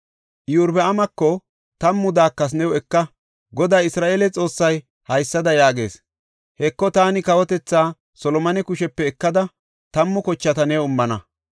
Iyorbaamako, “Tammu daakethaa new eka. Goday Isra7eele Xoossay haysada yaagees; ‘Heko, taani kawotethaa Solomone kushepe ekada tammu kochata new immana.